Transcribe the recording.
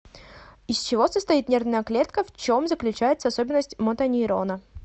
из чего состоит нервная клетка в чем заключается особенность мотонейрона